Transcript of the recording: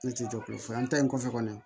Ne tɛ jɔ ko fɔ an ta in kɔfɛ kɔni